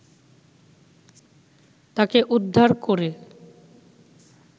তাকে উদ্ধার করে